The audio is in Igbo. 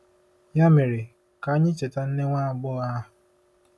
Ya mere, ka anyị cheta nne nwa agbọghọ ahụ.